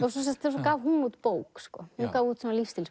svo gaf hún út bók sko hún gaf út